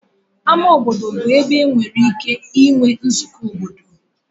Ama obodo bụ ebe enwere ike inwe nzukọ obodo.